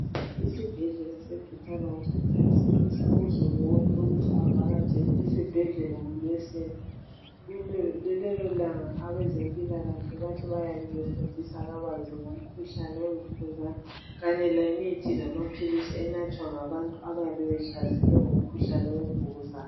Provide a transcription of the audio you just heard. Isibhedlela se Butaro hospital sinxusa uzulu wonke ukuthi avakatshele esibhedlela ngolwesine. Lelolanga abezempilakahle bathi bayabe befundisa kabanzi ngomkhuhlane wemvukuzane kanye lemithi lamaphilisi enathwa ngabantu abayabe behlaselwe ngumkhuhlane wemvukuzane.